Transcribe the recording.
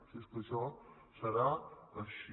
si és que això serà així